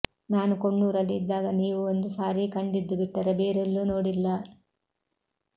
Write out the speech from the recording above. ನಾನು ಕೊಣ್ಣೂರಲ್ಲಿ ಇದ್ದಾಗ ನೀವು ಒಂದು ಸಾರಿ ಕಂಡಿದ್ದು ಬಿಟ್ಟರೆ ಬೇರೆಲ್ಲೂ ನೋಡಿಲ್ಲ